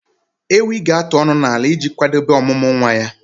Ewi ga-atụ ọnụ n'ala iji kwadebe ọmụmụ nwa ya